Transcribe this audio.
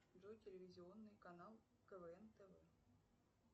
джой телевизионный канал квн тв